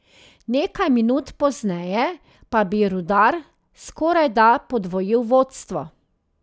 Nekaj minut pozneje pa bi Rudar skorajda podvojil vodstvo.